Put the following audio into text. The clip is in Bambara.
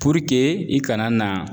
i kana na